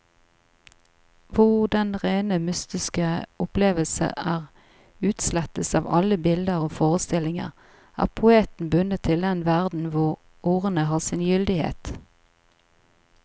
Hvor den rene mystiske opplevelse er utslettelse av alle bilder og forestillinger, er poeten bundet til den verden hvor ordene har sin gyldighet.